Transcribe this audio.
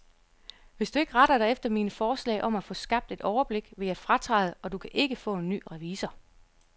Hvis du ikke retter dig efter mine forslag om at få skabt et overblik, vil jeg fratræde, og du kan ikke få en ny revisor.